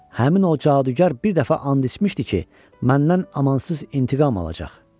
Həmin o cadugar bir dəfə and içmişdi ki, məndən amansız intiqam alacaq.